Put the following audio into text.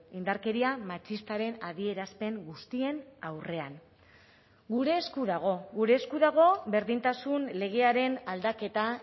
indarkeria matxistaren adierazpen guztien aurrean gure esku dago gure esku dago berdintasun legearen aldaketa